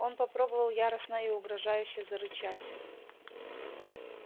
он попробовал яростно и угрожающе зарычать